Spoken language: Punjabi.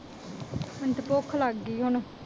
ਮੈਨੂੰ ਤਾਂ ਭੁੱਖ ਲੱਗ ਗਈ ਹੁਣ।